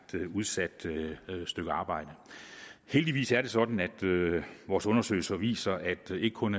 udsat stykke arbejde heldigvis er det sådan at vores undersøgelser viser at vi ikke kun